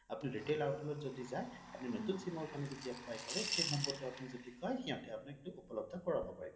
আপুনি retail outlet ত যদি যায় যদি আপুনি নতুন number তে apply কৰে same number তে যদি আপুনি কয় সিহঁতে উপলব্ধ কৰাব পাৰে